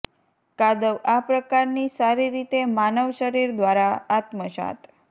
કાદવ આ પ્રકારની સારી રીતે માનવ શરીર દ્વારા આત્મસાત